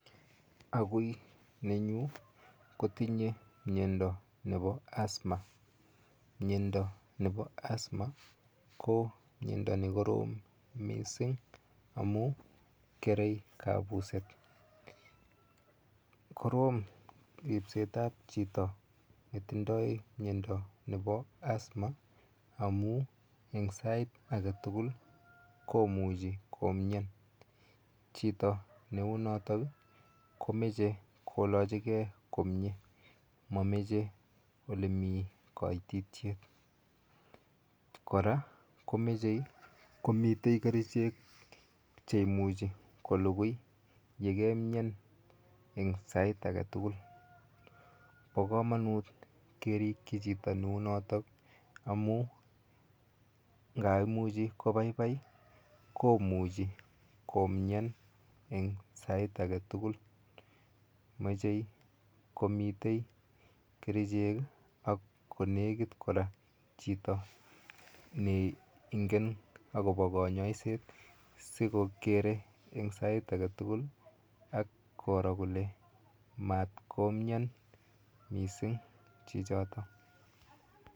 Agiu nenyu kotinyei miondo nepo asthma miondo nepo asthma ko miondo nekorom mising amun kerei kapuset korom ripset ap chito netindoi miondo nepo asthma amu eng sait ake tukul komuchi komian chito neu notok komeche kolochekei komie a mamichei olemii koititiet kora komechei komitei kerichek cheimuchi kolukui yekeimian eng sait aketukul po komonut kerikchi chito neu notok amun ngaimuchi kopaipai komuchi komian eng sait ake tukul mochei komitei kerichek ak kolwkit kora chitoneingen akopo konyoiset sikokere eng sait ake tukul ak koro kole matkomian mising chichotok